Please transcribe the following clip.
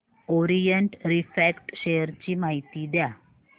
Orient Refract share ची माहिती द्या